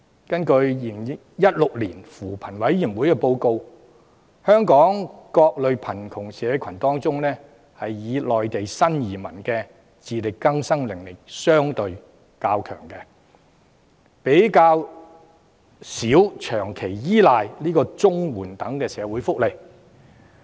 根據扶貧委員會的《2016年香港貧窮情況報告》，香港各類貧窮社群當中，以內地新移民的自力更生能力較強，較少要長期依賴綜合社會保障援助等社會福利。